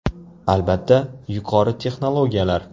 Albatta, yuqori texnologiyalar.